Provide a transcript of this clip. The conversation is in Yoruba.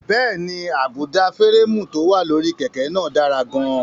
Bẹ́ẹ̀ni, àbùdá férémù tó wà lórí kẹ̀kẹ́ náà dára gan-an.